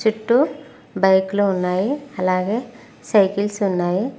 చుట్టూ బైక్ లో ఉన్నాయి అలాగే సైకిల్స్ ఉన్నాయి.